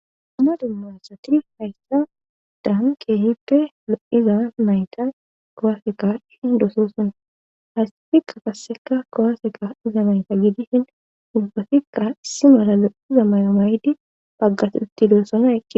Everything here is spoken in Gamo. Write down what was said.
Dumma dumma satiri hayssa dahan keehippe lo7iza mayta kowaseka hindosoosonna haysefikka kasseka kowaseka iza mayta gidishin mubbafikka si mala lo7iza may7o maydi baggas uttidoossona